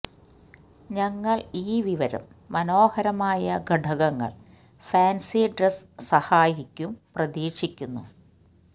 ഞങ്ങൾ ഈ വിവരം മനോഹരമായ ഘടകങ്ങൾ ഫാൻസി ഡ്രസ് സഹായിക്കും പ്രതീക്ഷിക്കുന്നു